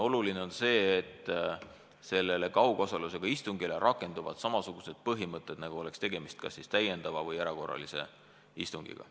Oluline on see, et selle kaugosalusega istungi puhul rakenduvad samasugused põhimõtted, nagu oleks tegemist kas siis täiendava istungiga või erakorralise istungjärguga.